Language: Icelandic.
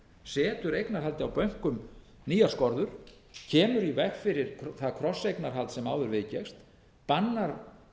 setur eignarhaldið á bönkum nýjarskorður kemur í veg fyrir það krosseignarhald sem áður viðgekkst bannar